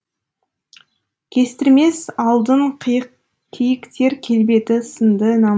кестірмес алдын киіктер келбеті сынды нам